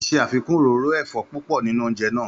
Ó ṣe àfikún òróró ẹ̀fọ́ púpọ̀ nínú oúnjẹ náà.